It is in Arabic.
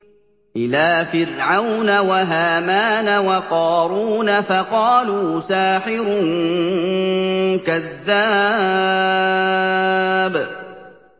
إِلَىٰ فِرْعَوْنَ وَهَامَانَ وَقَارُونَ فَقَالُوا سَاحِرٌ كَذَّابٌ